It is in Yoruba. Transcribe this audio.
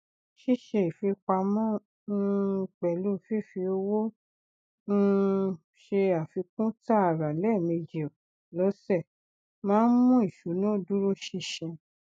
ṣíṣe ìfipamọ um pẹlú fífi owó um ṣe àfikún taara lẹẹmejì lọsẹ máa ń mú ìṣúná dúró ṣinṣin